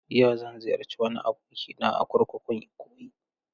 Yau, zan ziyarci wani abokina a kurkukun Ikoyi.